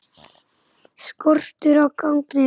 Skortur á gagnsæi